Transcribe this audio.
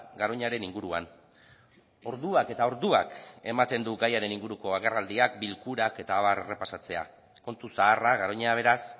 garoñaren inguruan orduak eta orduak ematen du gaiaren inguruko agerraldiak bilkurak eta abar errepasatzea kontu zaharra garoña beraz